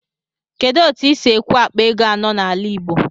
Kedụ etu ịsi ekwụ akpa ego anọ n'ala igbo?